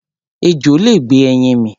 Ejò lè gbé ẹyin mì.